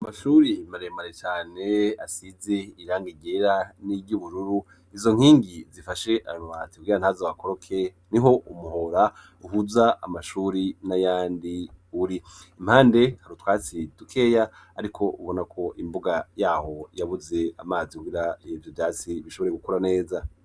Amashuri maremare cane asize iranga igera n'iry'ubururu izo nkingi zifashe arati bwira ntazo wakoroke niho umuhora uhuza amashuri n'ayandi uri impande tarutwatsi dukeya ariko ubona ko imbuga yaho yabuze amazi wira hebyo vyatsi bishobore gukora neza.